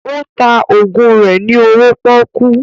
Ó ta ògùn rẹ ní owó pọ́kú